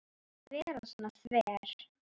Ekki vera svona þver.